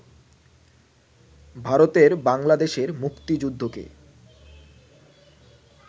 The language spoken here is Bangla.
ভারতের বাংলাদেশের মুক্তিযুদ্ধকে